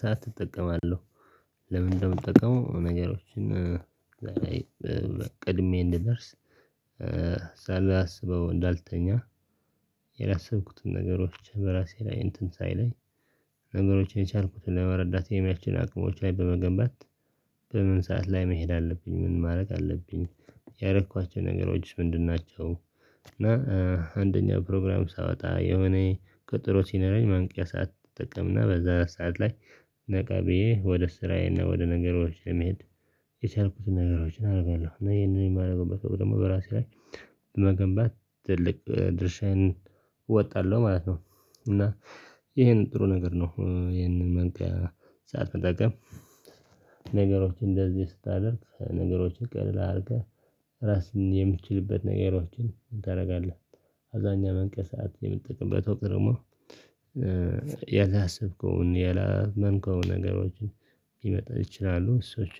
ሰዓት እጠቀማለሁ። ለምን እንደምጠቀመው ነገሮችን ቀድሜ እንድደርስ ሳላስበው እንዳልተኛ የላሰብኩትን ነገሮች በራሴ ላይ እንትን ሳይለኝ ነገሮችን የቻልኩትን ለመረዳት የሚያስችል አቅሞች ላይ በመገንባት በምን ሰዓት ላይ መሄድ አለብኝ ምን ማድረግ አለብኝ ያረኳቸው ነገሮች ምንድን ናቸው? እና አንደኛው ፕሮግራም ሳወጣ የሆነ ቀጠሮ ሲኖረኝ ማንቂያ ሰዓት እጠቀምና በዛ ሰዓት ላይ ነቃ ብየ ወደ ስራዬና ወደ ነገሮች ለመሄድ የቻልኩትን ነገሮችን አደርጋለሁ እና ይሄንን የማደርገው ደግሞ በራሴ ላይ በመገንባት ትልቅ ድርሻዬን እወጣለሁ ማለት ነው። እና ይሄን ጥሩ ነገር ነው ይሄንን መንቂያ ሳዓት መጠቀም። ነገሮችን እንደዚህ ስታደርግ ነገሮችን ቀልል አድርገህ ራስህን የምትችልበት ነገሮችን ታደርጋለህ አብዛኛው መንቂያ ሰዓት የምትጠቅበት ወቅት ደግሞ ያላሰብከውን ያላመንከውን ነገሮችን ሊመጣ ይችላሉ። ሰዎች